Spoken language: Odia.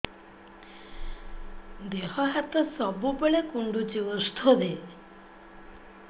ଦିହ ହାତ ସବୁବେଳେ କୁଣ୍ଡୁଚି ଉଷ୍ଧ ଦେ